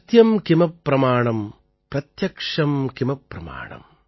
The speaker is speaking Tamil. சத்யம் கிம பிரமாணம் பிரத்யக்ஷம் கிம பிரமாணம்